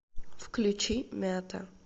включи мята